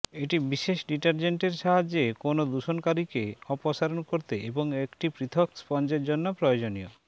এটি বিশেষ ডিটারজেন্টের সাহায্যে কোন দূষণকারীকে অপসারণ করতে এবং একটি পৃথক স্পঞ্জের জন্য প্রয়োজনীয়